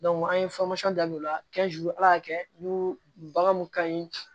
an ye da u la ala y'a kɛ n'u bagan mun ka ɲi